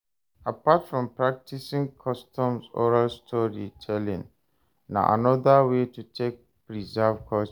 Apart from practicing customs oral story telling na another way to take preserve culture